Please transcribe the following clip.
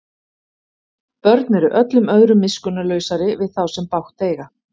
Börn eru öllum öðrum miskunnarlausari við þá sem bágt eiga.